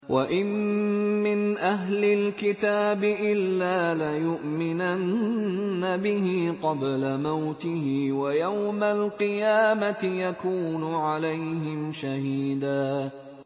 وَإِن مِّنْ أَهْلِ الْكِتَابِ إِلَّا لَيُؤْمِنَنَّ بِهِ قَبْلَ مَوْتِهِ ۖ وَيَوْمَ الْقِيَامَةِ يَكُونُ عَلَيْهِمْ شَهِيدًا